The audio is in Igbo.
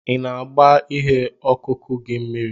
Ị na-agba ihe ọkụkụ gị mmiri?